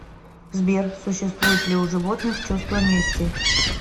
сбер существует ли у животных чувство мести